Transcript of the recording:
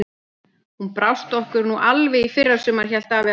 Hún brást okkur nú alveg í fyrra sumar, hélt afi áfram.